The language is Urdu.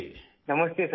نمستے سر جی